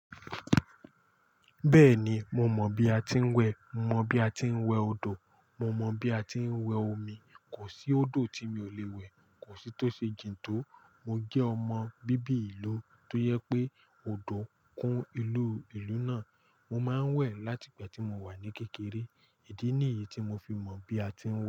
Bẹ́ẹ̀ni, mo mọ bí a ti ń wẹ̀, mo mọ bí a ti ń wẹ odò, mo mọ bí a ti ń wẹ omi. Kò sí odò tí mi ò le wẹ̀, kò sí tó ṣe jìn tó. Mo jẹ́ ọmọ bíbí ìlú, tó yẹ pé odò kún ìlú ìlú náà. Mo máa ń wẹ̀ láti ìgbà tí mo wà ní kékeré. Ìdí nìyí tí mo fi mọ̀ bí a tí ń wẹ̀.